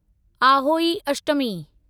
Ahoi Ashtami